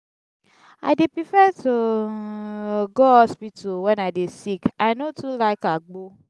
i dey prefer to go hospital wen i dey sick i no too like agbo.